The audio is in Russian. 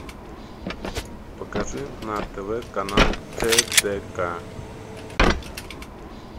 покажи на тв канал тдк